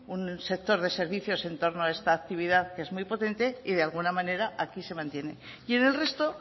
un sector de servicios en torno a esta actividad que es muy potente y de alguna manera aquí se mantiene y en el resto